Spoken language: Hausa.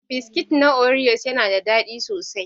Biskit na oriyos yana da daɗi sosai.